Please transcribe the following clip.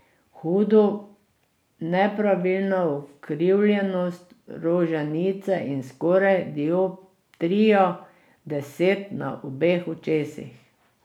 Hudo nepravilna ukrivljenost roženice in skoraj dioptrija deset na obeh očesih.